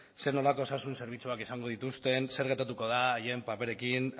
zer nolako osasun zerbitzuak izango dituzten zer gertatuko den haien paperekin